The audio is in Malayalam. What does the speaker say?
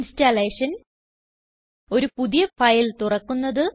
ഇൻസ്റ്റലേഷൻ ഒരു പുതിയ ഫയൽ തുറക്കുന്നത്